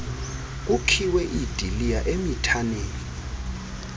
kukhiwe iidiliya emithaneni